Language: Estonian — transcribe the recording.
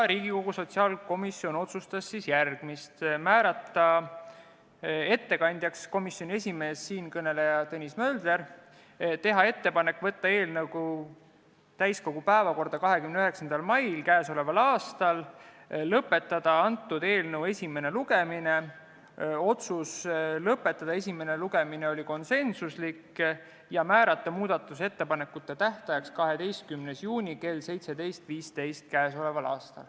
Riigikogu sotsiaalkomisjon otsustas järgmist: määrata ettekandjaks komisjoni esimees, siinkõneleja Tõnis Mölder, teha ettepanekud saata eelnõu täiskogu päevakorda 29. maiks ja lõpetada eelnõu esimene lugemine ning määrata muudatusettepanekute esitamise tähtajaks 12. juuni kell 17.15.